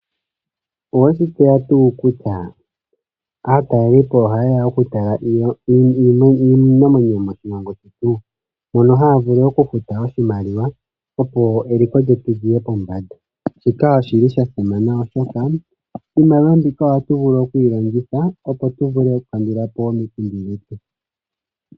Oweshi tseya tuu kutya aatalelipo ohayeya okutalela po iinamwenyo moshilongo shetu mono haya vulu okufuta iimaliwa opo eliko lyetu lyiye pombanda shika oshi sha simana oshoka iimaliwa mbika ohatu vulu okuyilongitha opo tu kandulepo omikundu.